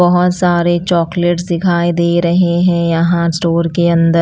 बहुत सारे चॉकलेट्स दिखाई दे रहे हैं यहाँ स्टोर के अंदर--